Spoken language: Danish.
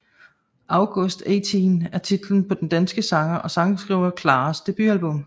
August Eighteen er titlen på den danske sanger og sangskriver Claras debutablum